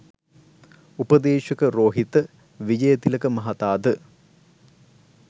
උපදේශක රෝහිත විජයතිලක මහතා ද